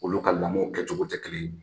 Olu ka lamɔ kɛcogo tɛ kelen ye